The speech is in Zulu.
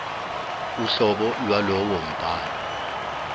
uhlobo lwalowo mbhalo